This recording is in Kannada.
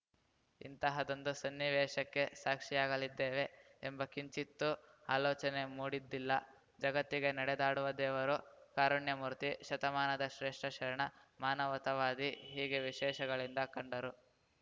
ಇಂತಹದೊಂದು ಸನ್ನಿವೇಶಕ್ಕೆ ಸಾಕ್ಷಿಯಾಗಲಿದ್ದೇವೆ ಎಂಬ ಕಿಂಚಿತ್ತೂ ಅಲೋಚನೆ ಮೂಡಿದ್ದಿಲ್ಲ ಜಗತ್ತಿಗೆ ನಡೆದಾಡುವ ದೇವರು ಕಾರುಣ್ಯ ಮೂರ್ತಿ ಶತಮಾನದ ಶ್ರೇಷ್ಠ ಶರಣ ಮಾನವತವಾದಿ ಹೀಗೆ ವಿಶೇಷಗಳಿಂದ ಕಂಡರು